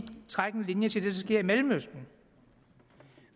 trække en linje til det der sker i mellemøsten